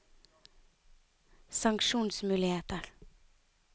sanksjonsmuligheter